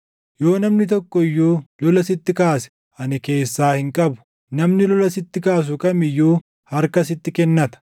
Yoo namni tokko iyyuu lola sitti kaase ani keessaa hin qabu; namni lola sitti kaasu kam iyyuu harka sitti kennata.